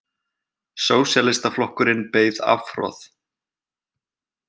Sósíalistaflokkurinn beið afhroð